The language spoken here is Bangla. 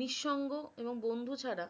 নিরসঙ্গ এবং বন্ধু ছাড়া